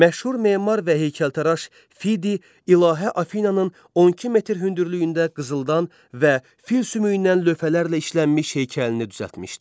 Məşhur memar və heykəltaraş Fidi ilahə Afinananın 12 metr hündürlüyündə qızıldan və fil sümüyündən lövhələrlə işlənmiş heykəlini düzəltmişdi.